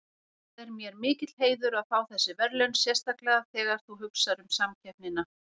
Það er mér mikill heiður að fá þessi verðlaun sérstaklega þegar þú hugsar um samkeppnina.